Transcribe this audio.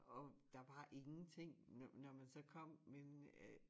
Og der var ingenting når når man så kom men øh